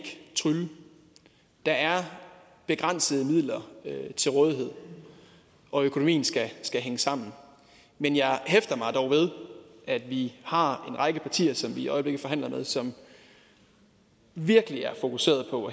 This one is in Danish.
trylle der er begrænsede midler til rådighed og økonomien skal hænge sammen men jeg hæfter mig dog ved at vi har en række partier som vi i øjeblikket forhandler med som virkelig er fokuserede på